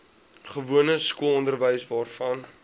gewone skoolonderwys waarvan